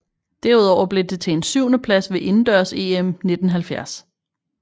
Derudover blev det til en syvende plads ved indendørs EM 1970